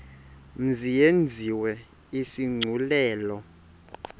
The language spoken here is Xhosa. mzi yenziwe isigculelo